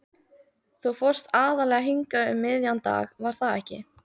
Þú fórst aðallega hingað um miðjan dag, var það ekki?